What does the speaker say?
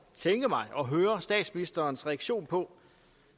tænke mig at høre statsministerens reaktion på